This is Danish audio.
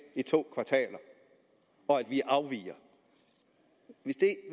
i to kvartaler og at vi afviger